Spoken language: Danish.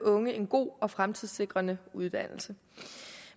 unge en god og fremtidssikrende uddannelse